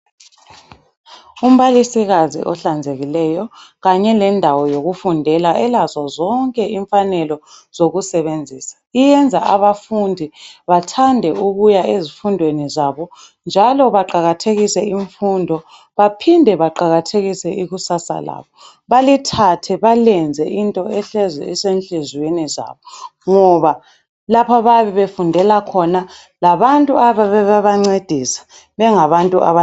Umbalisikazi ohlanzekileyo kanye lendawo yokufundela elazo zonke imfanelo zokusebenzisa iyenza abafundi bathande ukuya ezifundweni zabo njalo baqakathekise imfundo baphinde baqakathekise ikusasa labo balithathe balenze into ehlezi isenhliziyweni zabo ngoba lapha abayabe befundela khona labantu abayabe bebancedisa bengabantu.